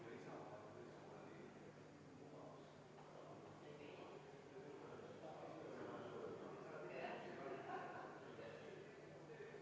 Panen hääletusele muudatusettepaneku nr 36, mille on esitanud Martin Helme, Arvo Aller ja Rain Epler.